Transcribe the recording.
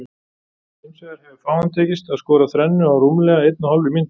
Hins vegar hefur fáum tekist að skora þrennu á rúmlega einni og hálfri mínútu.